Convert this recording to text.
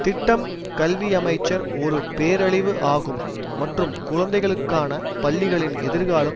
திட்டம் கல்வியமைச்சர் ஒரு பேரழிவு ஆகும் மற்றும் குழந்தைகளுக்கான பள்ளிகளின் எதிர்காலம்